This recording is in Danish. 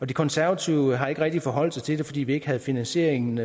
de konservative har ikke rigtig forholdt sig til det fordi vi ikke havde finansieringen